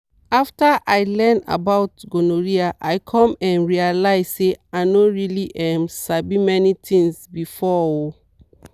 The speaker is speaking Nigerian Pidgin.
after i learn about gonorrhea i come um realize say i no really um sabi many things before. um